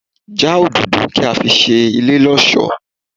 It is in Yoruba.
Já òdòdó kí á fi ṣe ilé lọ́sọ̀ọ́!